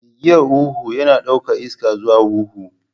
Gigiya huhu yana ɗaukar iska zuwa huhu.